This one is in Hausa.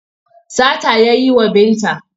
Sata ya yi wa Binta.